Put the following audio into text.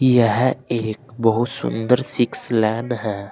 यह एक बहोत सुंदर सिक्स लैन है।